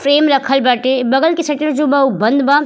Frame रखल बाटे। बगल के शटर जेबा उ बंद बा।